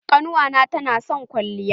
Ƙannuwa na ta na son kwalliya.